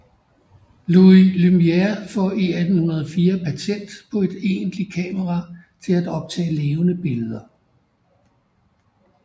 Louis Lumière får i 1894 patent på et egentligt kamera til at optage levende billeder